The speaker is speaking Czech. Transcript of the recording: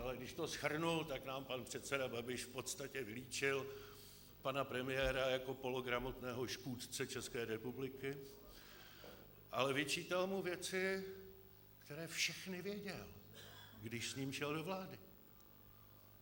Ale když to shrnu, tak nám pan předseda Babiš v podstatě vylíčil pana premiéra jako pologramotného škůdce České republiky, ale vyčítal mu věci, které všechny věděl, když s ním šel do vlády.